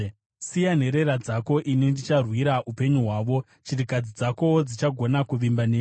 Siya nherera dzako; ini ndicharwira upenyu hwavo. Chirikadzi dzakowo dzichagona kuvimba neni.”